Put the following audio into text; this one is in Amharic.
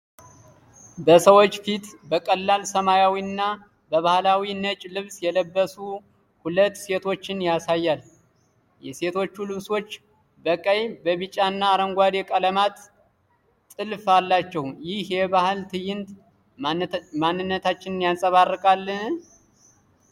በሰዎች ፊት በቀላል ሰማያዊና በባህላዊ ነጭ ልብስ የለበሱ ሁለት ሴቶችን ያሳያል። የሴቶቹ ልብሶች በቀይ፣ ቢጫና አረንጓዴ ቀለማት ጥልፍ አላቸው። ይህ የባህል ትዕይንት ማንነታችንን ያንጸባርቃል?